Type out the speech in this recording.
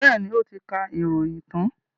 Bẹ́ẹ̀ni, ó ti ka ìròyìn tán.